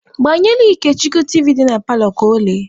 Gbanyelụ Ikechukwu tiivi dị na paalọ ka ọ lee!.